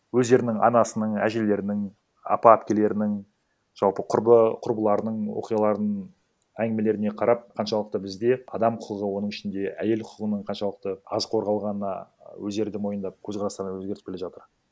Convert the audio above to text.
өздерінің анасының әжелерінің апа әпкелерінің жалпы құрбы құрбыларының оқиғаларын әңгімелеріне қарап қаншалықты бізде адам құқығы оның ішінде әйел құқығының қаншалықты аз қорғалғанына өздері де мойындап көзқарастарын өзгертіп келе жатыр